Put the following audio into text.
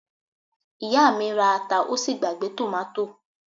Ìyá mi ra ata ó sì gbàgbé tòmátò